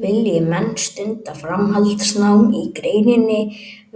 Vilji menn stunda framhaldsnám í greininni